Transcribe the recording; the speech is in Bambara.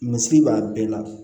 Misiri b'a bɛɛ la